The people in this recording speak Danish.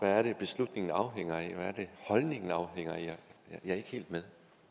er det beslutningen afhænger af hvad er det holdningen afhænger af jeg er ikke helt med